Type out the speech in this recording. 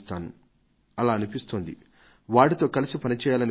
ఇంకా ఈ సమావేశం అనంతరం వారు ఒక కొత్త వేగాన్ని అందుకోగలుగుతారని నేను భావిస్తున్నాను